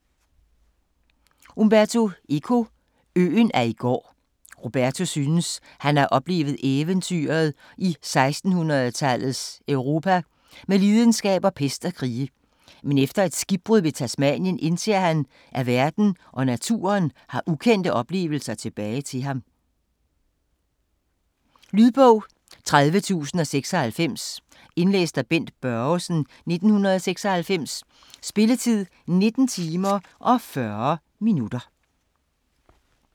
Eco, Umberto: Øen af i går Roberto synes, han har oplevet eventyret i 1600-tallets Europa med lidenskaber, pest og krige, men efter et skibbrud ved Tasmanien indser han, at verden og naturen har ukendte oplevelser tilbage til ham. Lydbog 30096 Indlæst af Bent Børgesen, 1996. Spilletid: 19 timer, 40 minutter.